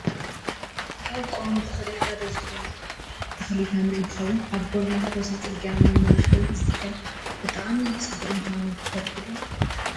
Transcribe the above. ካብ ቆዋሚ ተክሊ ሓደ ዝኮነ ተክሊ ተምሪ እንትከውን ኣብ ጎደናታት ወሰን ፅርግያ ንመመላክዒ ዝትከል ብጣዕሚ ፅቡቅ ምኳኑ ትፈልጡ ዶ ?